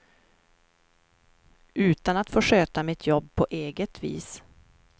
Utan att få sköta mitt jobb på eget vis.